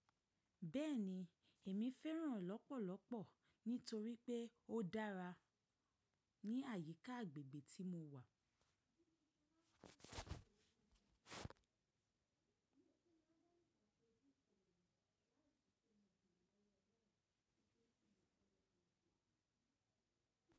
Bẹ́ẹ̀ni, èmi fẹ́ràn lọ́pọ̀lọ́pọ̀ nítorí pé ó dára ní àyíká agbègbè tí mo wà.